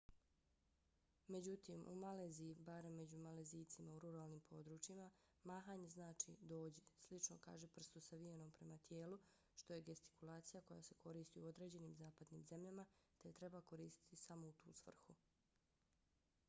međutim u maleziji barem među malezijcima u ruralnim područjima mahanje znači dođi slično kažiprstu savijenom prema tijelu što je gestikulacija koja se koristi u određenim zapadnim zemljama te je treba koristiti samo u tu svrhu